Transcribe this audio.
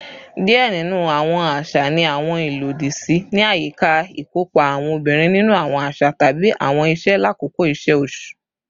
Diẹ ninu awọn aṣa ni awọn ilodi si ni ayika ikopa awọn obinrin ninu awọn aṣa tabi awọn iṣe lakoko iṣe oṣu